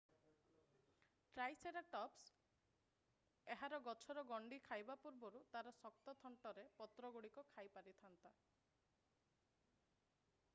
triceratops ଏହାର ଗଛର ଗଣ୍ଡି ଖାଇବା ପୂର୍ବରୁ ତା'ର ଶକ୍ତ ଥଣ୍ଟରେ ପତ୍ରଗୁଡିକ ଖାଇପାରିଥାନ୍ତା